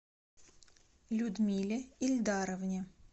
людмиле ильдаровне